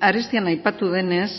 arestian aipatu denez